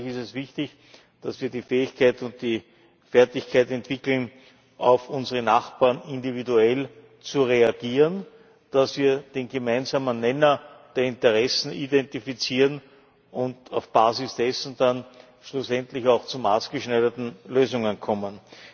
Daher ist es wichtig, dass wir die Fähigkeit und die Fertigkeit entwickeln, auf unsere Nachbarn individuell zu reagieren, dass wir den gemeinsamen Nenner der Interessen identifizieren und auf Basis dessen dann schlussendlich auch zu maßgeschneiderten Lösungen kommen.